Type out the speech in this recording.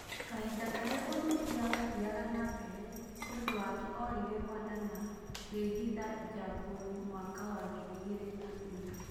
Kahinda karia ũthuthuria wathiaga nambere ni ũndũ wake orire Rwanda na kwihitha Jamboni Mwaka wa ngiri igĩrĩ na inya